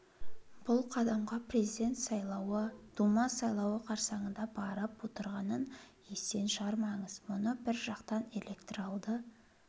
бұл қадамға президент сайлауы дума сайлауы қарсаңында барып отырғанын естен шығармаңыз мұны бір жақтан электоралды